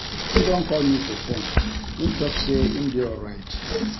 Im don call me for fone, im talk sey im dey alright.